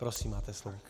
Prosím máte slovo.